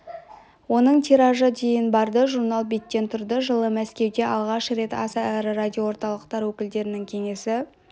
оның тиражы дейін барды журнал беттен тұрды жылы мәскеуде алғаш рет аса ірі радиоорталықтар өкілдерінің кеңесі